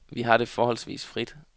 Vi har det forholdsvis frit.